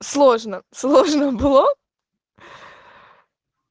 сложно сложно бло